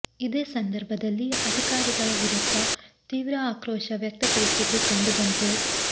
ಇದೇ ಸಂದರ್ಭದಲ್ಲಿ ಅಧಿಕಾರಿಗಳ ವಿರುದ್ಧ ತೀವ್ರ ಆಕ್ರೋಶ ವ್ಯಕ್ತಪಡಿಸಿದ್ದು ಕಂಡು ಬಂತು